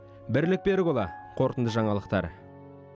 бірлік берікұлы қорытынды жаңалықтар